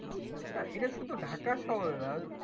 নাহ এইটা শুধু ঢাকা শহরে নাহ